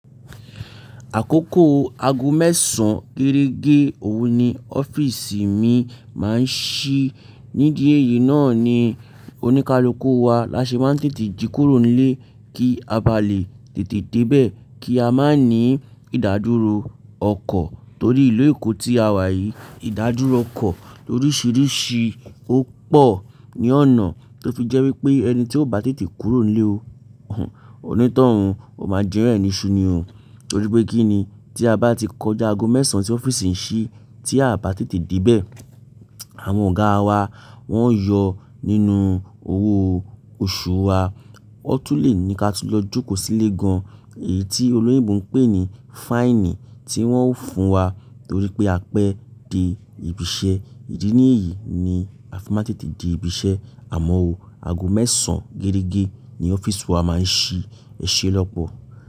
Àkókò aago mẹ́sàn géregé òru ni ọ́fíìsì mi máa ń ṣí. Nídìí èyí náà ni oníkálukú wa láṣe máa ń tètè jí kúrò nílé kí a bá lè tètè dé bẹ̀ kí a má ní ìdádúró ọkọ̀ torí ìlú Èkó tí a wà yìí ìdádúró ọkọ̀ lóríṣiríṣi ó pọ̀ ní ọ̀nà tó fi jẹ́ wípé ẹni tí ó bá tètè kúrò nílé ònítọ̀hún ó máa jẹ́ yan ẹ̀ ni ṣú ni o torí pé kí ni tí a bá ti kọjá aago mẹ́sàn tí ọ́fíìsì ń ṣí tí a bá tètè dé bẹ̀ àwọn ọ̀gáa wa wọ́n yọ nínú owó oṣù wa. Ó tún lè ní ká tú lọ jókòó sílé gan. Èyí tí olóyinbo ń pè ní fáìnì tí wọ́n ó fún wa torí pé a pé dé ibi iṣẹ́. Ìdí ní èyí ni a fi má n tètè dé ibi iṣẹ́ àmọ́ o. Aago mẹ́sàn géregé ni ọ́fíìsì wa máa ń ṣí. Ẹ̀ṣé lọ́pọ̀